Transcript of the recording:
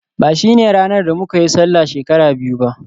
ba shine ranar da muka yi Sallah shekara biyu ba